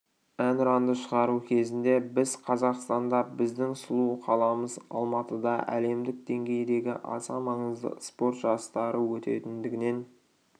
әнұранды шығару кезінде біз қазақстанда біздің сұлу қаламыз алматыда әлемдік деңгейдегі аса маңызды спорт жарыстары өтетіндігінен